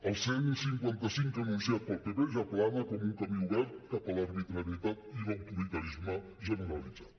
el cent i cinquanta cinc anunciat pel pp ja plana com un camí obert cap a l’arbitrarietat i l’autoritarisme generalitzat